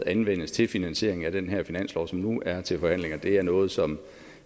anvendes til finansiering af den her finanslov som nu er til forhandlinger er noget som